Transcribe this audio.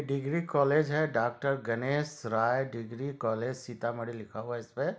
Degree college हैं doctor Ganesh Rai degree college Sitamarhi लिखा हुआ हैं इसपे।